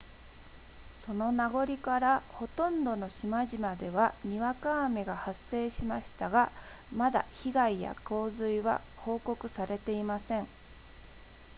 その名残からほとんどの島々ではにわか雨が発生しましたがまだ被害や洪水は報告されていません